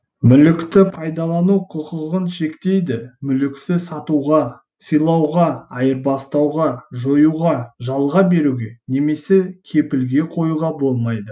мүлікті пайдалану құқығын шектейді мүлікті сатуға сыйлауға айырбастауға жоюға жалға беруге немесе кепілге коюға болмайды